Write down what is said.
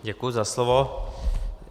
Děkuji za slovo.